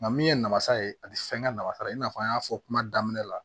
Nka min ye namasa ye a ti fɛn kɛ nafa ye i n'a fɔ an y'a fɔ kuma daminɛ la